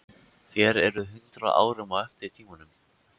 Þér eruð hundrað árum á eftir tímanum.